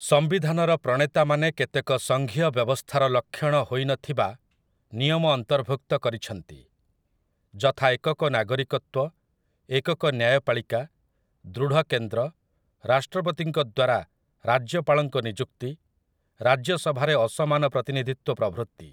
ସମ୍ବିଧାନର ପ୍ରଣେତାମାନେ କେତେକ ସଂଘୀୟ ବ୍ୟବସ୍ଥାର ଲକ୍ଷଣ ହୋଇନଥିବା ନିୟମ ଅନ୍ତର୍ଭୁକ୍ତ କରିଛନ୍ତି, ଯଥା ଏକକ ନାଗରିକତ୍ୱ, ଏକକ ନ୍ୟାୟପାଳିକା, ଦୃଢ଼ କେନ୍ଦ୍ର, ରାଷ୍ଟ୍ରପତିଙ୍କ ଦ୍ୱାରା ରାଜ୍ୟପାଳଙ୍କ ନିଯୁକ୍ତି, ରାଜ୍ୟସଭାରେ ଅସମାନ ପ୍ରତିନିଧିତ୍ୱ ପ୍ରଭୃତି ।